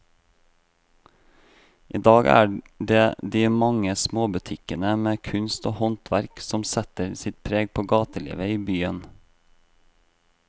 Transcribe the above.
I dag er det de mange små butikkene med kunst og håndverk som setter sitt preg på gatelivet i byen.